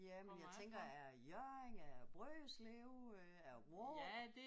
Ja men jeg tænker er det Hjørring er det Brønderslev øh er det Vrå?